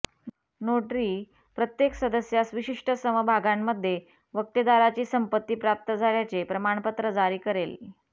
notary प्रत्येक सदस्यास विशिष्ट समभागांमध्ये वक्तेदाराची संपत्ती प्राप्त झाल्याचे प्रमाणपत्र जारी करेल